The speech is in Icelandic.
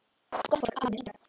Gott fólk, alveg í gegn.